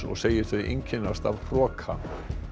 og segir þau einkennast af hroka